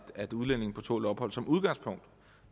at udlændinge på tålt ophold som udgangspunkt